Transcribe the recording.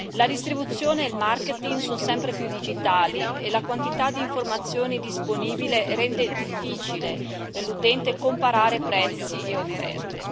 La distribuzione e il marketing sono sempre più digitali e la quantità di informazioni disponibile rende difficile per l'utente comparare prezzi e offerte.